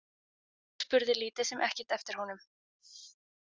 Hún spurði lítið sem ekkert eftir honum.